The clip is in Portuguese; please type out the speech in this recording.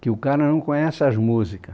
que o cara não conhece as músicas.